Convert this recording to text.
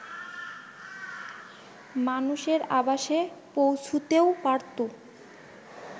মানুষের আবাসে পৌঁছুতেও পারতো